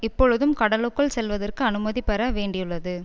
இப்பொழுதும் கடலுக்குள் செல்வதற்கு அனுமதி பெற வேண்டியுள்ளது